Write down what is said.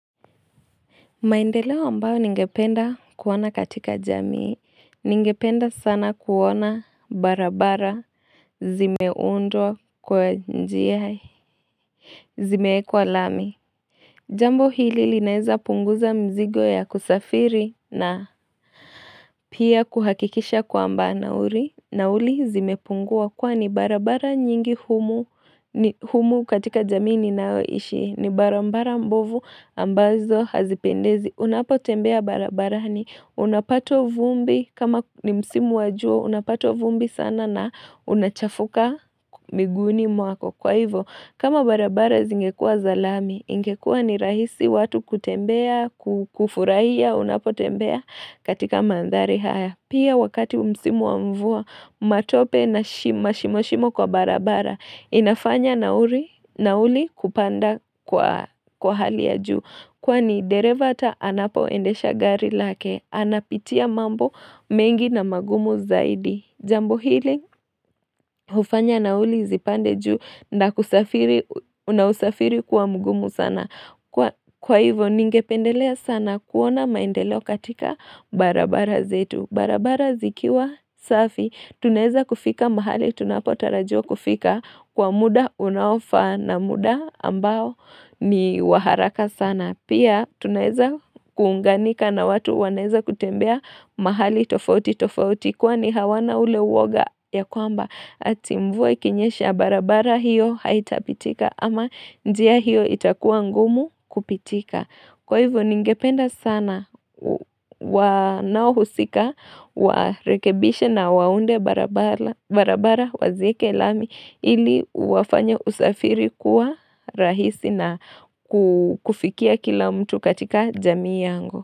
Maendeleo ambayo ningependa kuona katika jamii, ningependa sana kuona barabara zimeundwa kwa njia zimeekwa lami Jambo hili linaweza punguza mzigo ya kusafiri na Pia kuhakikisha kwamba nauli Nauli zimepungua kwani barabara nyingi humu humu katika jamii ninayoishi ni barabara mbovu ambazo hazipendezi. Unapo tembea barabarani unapata vumbi kama ni msimu wa jua unapata vumbi sana na unachafuka miguuni mwako kwa hivyo kama barabara zingekua za lami ingekua ni rahisi watu kutembea kufurahia unapo tembea katika mandhari haya. Pia wakati msimu wa mvua, matope na mashimoshimo kwa barabara inafanya nauli kupanda kwa kwa hali ya juu kwani dereva hata anapoendesha gari lake, anapitia mambo mengi na magumu zaidi jambo hili hufanya nauli zipande juu na usafiri kuwa mgumu sana. Kwa hivo ningependelea sana kuona maendeleo katika barabara zetu. Barabara zikiwa safi. Tunaeza kufika mahali tunapotarajiwa kufika Kwa muda unaofaa na muda ambao ni wa haraka sana. Pia tunaeza kuunganika na watu wanaeza kutembea mahali tofauti tofauti. Kwani hawana ule uwoga ya kwamba ati mvua ikinyesha barabara hiyo haitapitika ama njia hiyo itakuwa ngumu kupitika. Kwa hivyo ningependa sana wanaohusika warekebishe na waunde barabara wazieke lami ili wafanye usafiri kuwa rahisi na kufikia kila mtu katika jamii yangu.